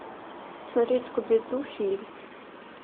смотреть скуби ду фильм